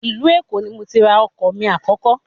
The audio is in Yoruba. Ìlú Èkó ni mo ti ra ọkọ̀ mi àkọ́kọ́